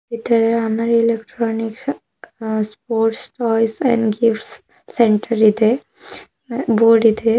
Amar electronics ಅ sport toys and gifts centre ಇದೆ ಬೋರ್ಡಿದೆ .